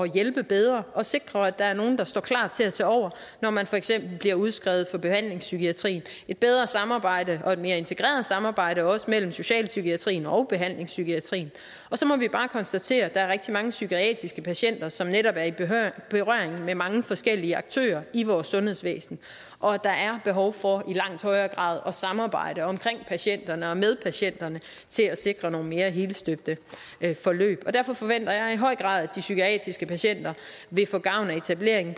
hjælpe bedre og sikre at der er nogle der står klar til at tage over når man for eksempel bliver udskrevet fra behandlingspsykiatrien et bedre samarbejde og et mere integreret samarbejde også mellem socialpsykiatrien og behandlingspsykiatrien og så må vi bare konstatere at der er rigtig mange psykiatriske patienter som netop er i berøring med mange forskellige aktører i vores sundhedsvæsen og at der er behov for i langt højere grad at samarbejde omkring patienterne og med patienterne til at sikre nogle mere helstøbte forløb derfor forventer jeg i høj grad at de psykiatriske patienter vil få gavn af etableringen